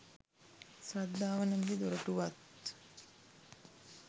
ශ්‍රද්ධාව නමැති දොරටුවත්